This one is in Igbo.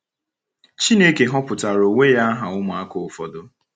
Chineke họpụtara onwe ya aha ụmụaka ụfọdụ.